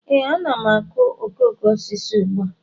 Ee, ana m akụ okoko osisi ugbu a